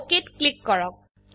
OKত ক্লিক কৰক